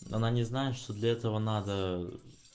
она не знает что для этого надо ээ